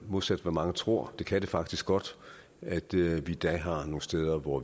modsat hvad mange tror det kan det faktisk godt er det vigtigt at man har nogle steder hvor